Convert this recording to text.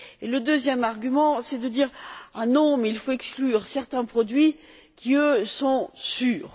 Le deuxième argument, c'est de dire Ah non, mais il faut exclure certains produits qui, eux, sont sûrs.